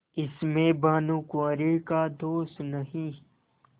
इसमें भानुकुँवरि का दोष नहीं